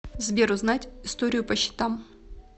сбер узнать историю по счетам